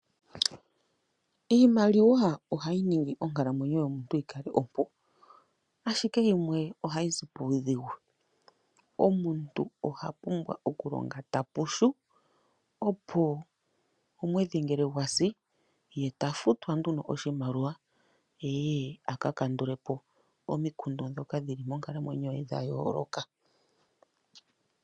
Iimaliwa ohayi ningi onkalamwenyo yomuntu opo yi kale ompu, ashike yimwe ohayi zi puudhigu. Omuntu oha pumbwa okulonga ta pushu opo omweedhi ngele gwa si, ye ta futwa nduno oshimaliwa ye aka kandule po omikundu dhoka dhili monkalamweyo ye dha yooloka.